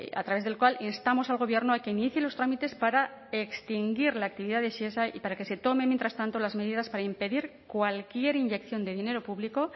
a través del cual instamos al gobierno a que inicie los trámites para extinguir la actividad de shesa y para que se tomen mientras tanto las medidas para impedir cualquier inyección de dinero público